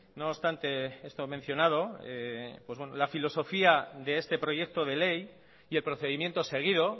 no obstante esto mencionado la filosofía de este proyecto de ley y el procedimiento seguido